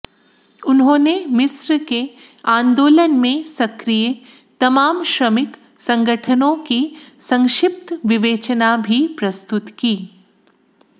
उन्होंने मिस्र के आन्दोलन में सक्रिय तमाम श्रमिक संगठनों की संक्षिप्त विवेचना भी प्रस्तुत की